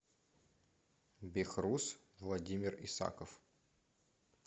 бехруз владимир исаков